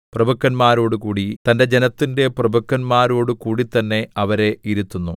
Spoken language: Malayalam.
പ്രഭുക്കന്മാരോടുകൂടി തന്റെ ജനത്തിന്റെ പ്രഭുക്കന്മാരോടുകൂടിത്തന്നെ അവരെ ഇരുത്തുന്നു